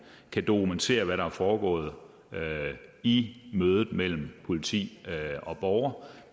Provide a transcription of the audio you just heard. kan dokumentere hvad der er foregået i mødet mellem politi og borgere